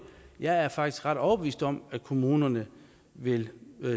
jeg er faktisk ret overbevist om at kommunerne vil